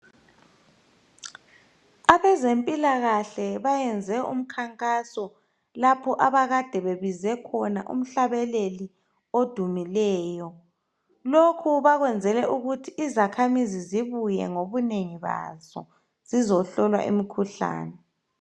Abezempilakahle bayenze umkhankaso, lapho abakade bebize khona umhlabeleli odumileyo. Lokhu bakwenzele ukuthi izakhamizi zibuye ngobunengi bazo zizohlolwa imikhuhlane.